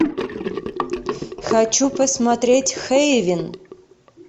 хочу посмотреть хейвен